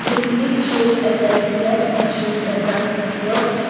image shows a landscape featuring a grassy feel.